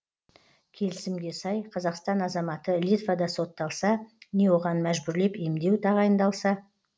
келісімге сай қазақстан азаматы литвада сотталса не оған мәжбүрлеп емдеу тағайындалса